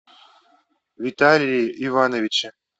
виталии ивановиче